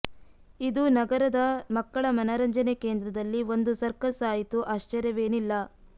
ಇದು ನಗರದ ಮಕ್ಕಳ ಮನರಂಜನೆ ಕೇಂದ್ರದಲ್ಲಿ ಒಂದು ಸರ್ಕಸ್ ಆಯಿತು ಆಶ್ಚರ್ಯವೇನಿಲ್ಲ